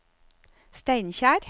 Steinkjer